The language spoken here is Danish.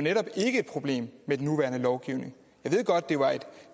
netop ikke et problem med den nuværende lovgivning jeg ved godt at